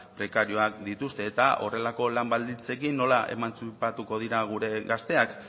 prekarioak dituzte eta horrelako lan baldintzekin nola emantzipatuko dira gure gazteak